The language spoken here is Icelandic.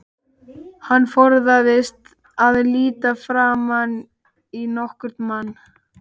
Hann forðaðist að líta framan í nokkurn mann.